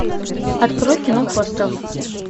открой кино хостел